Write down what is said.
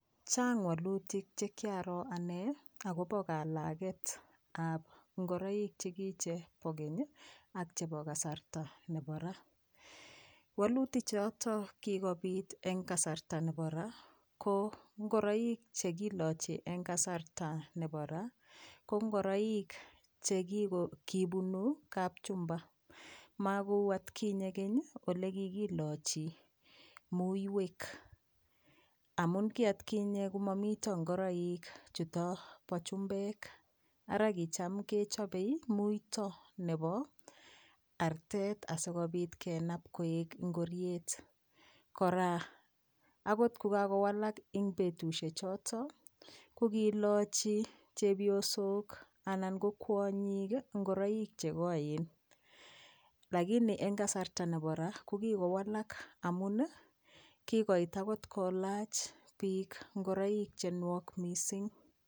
Chang walutik che kiaro ane akobo kalaketab ingoroik che kiche bo keny ii ak chebo kasarta nebo ra, waluti choto kikobit eng kasarta nebo ra, ko ngoroik che kilochi eng kasarta nebo ra, ko ngoroik che kibunu kapchumba, makou atkinye keny ii ole kikilochi muiwek, amun ki atkinye ko momito ngoroik chuto bo chumbek ara kicham kechobe muito nebo artet asikobit kenap koek ingoriet, kora akot ko kakowalak eng betusie choto, ko kilochi chepyosok anan ko kwonyik ii ingoroik che koen, lakini eng kasarta nebo ra ko kikowalak amun ii, kikoit akot kolach piik ingoroik che nwok mising.